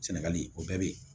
Sɛnɛgali o bɛɛ bɛ